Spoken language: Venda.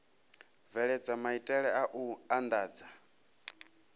bveledza maitele a u andadza